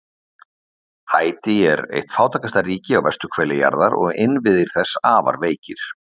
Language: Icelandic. Haítí er eitt fátækasta ríki á vesturhveli jarðar og innviðir þess afar veikir.